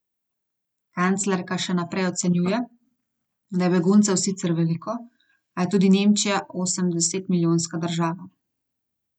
Kanclerka še naprej ocenjuje, da je beguncev sicer veliko, a je tudi Nemčija osemdesetmilijonska država.